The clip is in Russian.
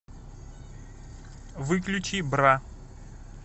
выключи бра